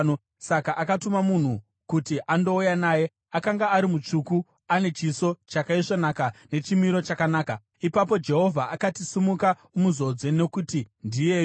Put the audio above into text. Saka akatuma munhu kuti andouya naye. Akanga ari mutsvuku, ane chiso chakaisvonaka nechimiro chakanaka. Ipapo Jehovha akati, “Simuka umuzodze, nokuti ndiyeyu.”